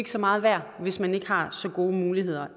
så meget værd hvis man ikke har så gode muligheder